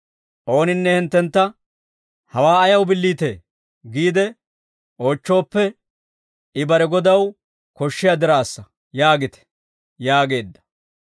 Ooninne hinttentta, ‹Hawaa ayaw billiitee?› giide oochchooppe, ‹I bare godaw koshshiyaa diraassa› yaagite» yaageedda.